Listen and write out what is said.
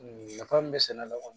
Nafa min bɛ sɛnɛ la kɔni